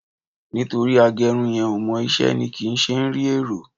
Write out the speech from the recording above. Nítorí agẹrun yẹn ò mọ iṣẹ́ ni kì í ṣe ń rí èrò